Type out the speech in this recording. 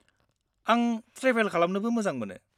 आं ट्रेभेल खालामनोबो मोजां मोनो।